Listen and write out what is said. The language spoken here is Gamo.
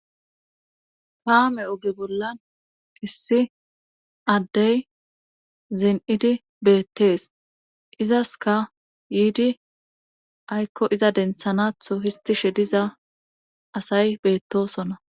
Kaame oge bollan issi addey zen7idi beettees izaska yiidi aykko iza denthanatho histishe diza asay beettosonna